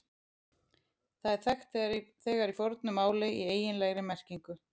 Það er þekkt þegar í fornu máli í eiginlegri merkingu.